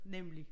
Nemlig